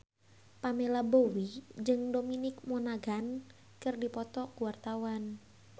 Pamela Bowie jeung Dominic Monaghan keur dipoto ku wartawan